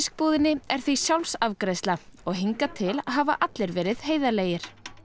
búðinni er því sjálfsafgreiðsla og hingað til hafa allir verið heiðarlegir